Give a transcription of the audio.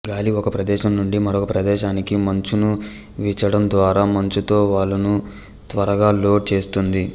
గాలి ఒక ప్రదేశం నుండి మరొక ప్రదేశానికి మంచును వీచడం ద్వారా మంచుతో వాలును త్వరగా లోడ్ చేస్తుంది